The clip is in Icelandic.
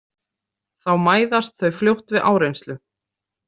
Þá mæðast þau fljótt við áreynslu.